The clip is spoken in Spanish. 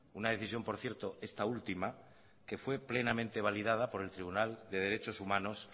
una decisión por cierto esta última que fue plenamente validada por el tribunal de derechos humanos